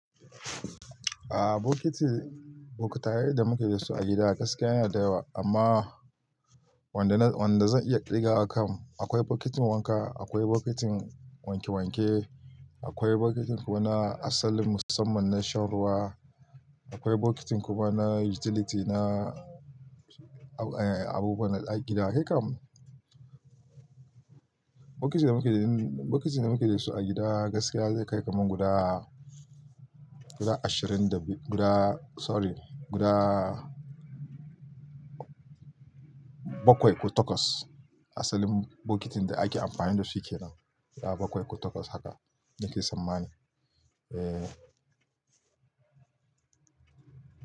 Ah, bokitin, bokitayen da muke da su a gida gaskiya yana da yawa. Amma wanda na, wanda zan iya ƙirga wa kam. Akwai bokitin wanka, akwai bokitin wanke wanke, akwai bokitin kuma na asalin musamman na shan ruwa, akwai bokitin kuma na utility na, eh, abubuwan na gida. Kai kam, bokitin da muke, bokitin da muke da su a gida gaskiya zai kai kamar guda, guda ashirin da biyu, guda sorry, guda bakwai ko takwas. Asalin bokitin da ake amfani da shi kenan, guda bakwai ko takwas haka nake tsammani. Eh.